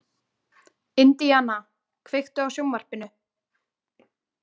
Indiana, kveiktu á sjónvarpinu.